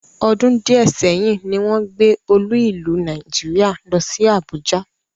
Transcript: Ọdún díẹ̀ sẹ́yìn ni wọ́n gbé olú ìlú Nàìjíríà lọ sí Àbújá